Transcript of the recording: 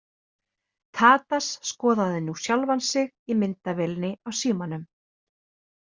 Tadas skoðaði nú sjálfan sig í myndavélinni á símanum.